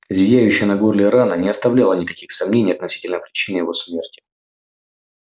зияющая на горле рана не оставляла никаких сомнений относительно причины его смерти